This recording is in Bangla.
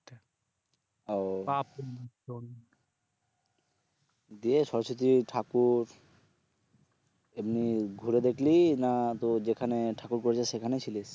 দিয়ে সরস্বতী ঠাকুর এমনি ঘুরে দেখলি না তোর যেখানে ঠাকুর করেছে সেখানেই ছিলিস?